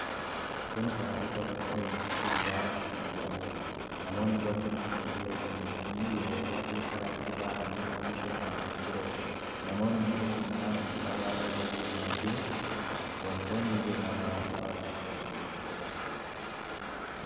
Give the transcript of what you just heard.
Kun karaa irra bakka oomishi muduraa itti gurguramuudha. Namoonni bakka itti gurguratan hin qabne yeroo baay'ee karaatti bahanii oomisha kana gurguratu. Namoonni isa cinaa karaa irra deemaa jiru. Wantoonni biraa maaltu karaa irra deemaa jira?